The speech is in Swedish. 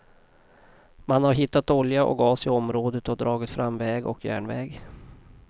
Man har hittat olja och gas i området och dragit fram väg och järnväg.